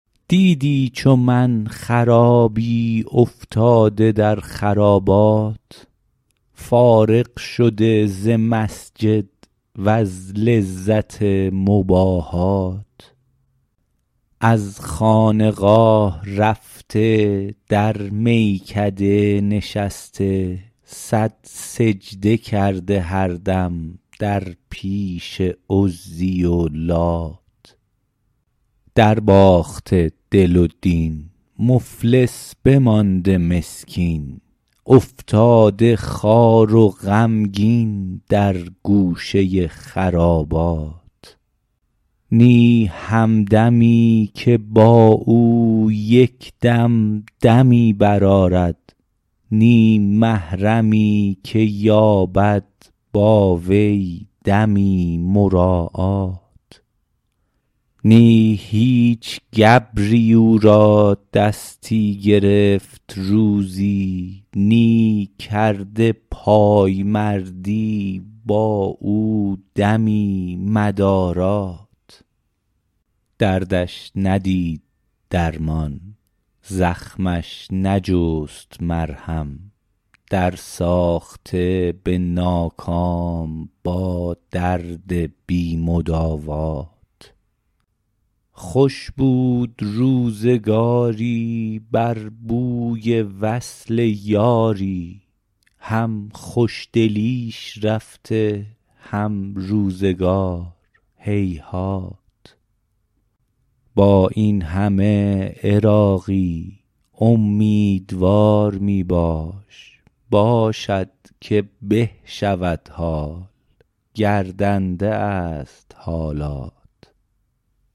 دیدی چو من خرابی افتاده در خرابات فارغ شده ز مسجد وز لذت مباحات از خانقاه رفته در میکده نشسته صد سجده کرده هر دم در پیش عزی و لات در باخته دل و دین مفلس بمانده مسکین افتاده خوار و غمگین در گوشه خرابات نی همدمی که با او یک دم دمی برآرد نی محرمی که یابد با وی دمی مراعات نی هیچ گبری او را دستی گرفت روزی نی کرده پایمردی با او دمی مدارات دردش ندید درمان زخمش نجست مرهم در ساخته به ناکام با درد بی مداوات خوش بود روزگاری بر بوی وصل یاری هم خوشدلیش رفته هم روزگار هیهات با این همه عراقی امیدوار می باش باشد که به شود حال گردنده است حالات